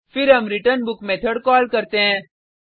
फिर हम return book method call करते हैं